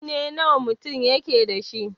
Kunne nawa mutum yake dashi?